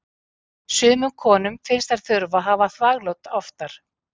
sumum konum finnst þær þurfa að hafa þvaglát oftar